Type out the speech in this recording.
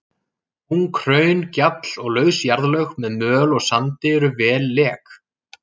Ung hraun, gjall og laus jarðlög með möl og sandi eru vel lek.